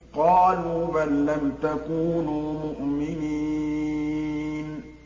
قَالُوا بَل لَّمْ تَكُونُوا مُؤْمِنِينَ